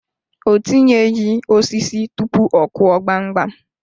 O tinyeghi osisi tụpụ ọ Kụọ gbamgbam.